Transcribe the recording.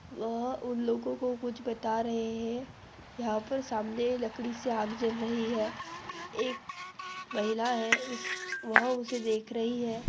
वह उन लोगो कों कुछ बता रहे है यहाँ पर सामने लकड़ि से आग जल रही है एक महिला है उस वह उसे देख रही है।